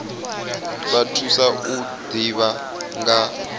vha thusa u ḓivha nga